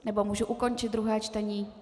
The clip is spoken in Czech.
Nebo mohu ukončit druhé čtení?